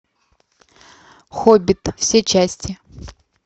хоббит все части